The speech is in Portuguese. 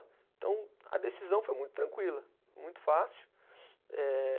Então a decisão foi muito tranquila, muito fácil. Eh